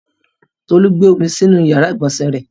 Tolú gbé omi sínú ìyàrá-ìgbọ̀nsẹ̀ rẹ.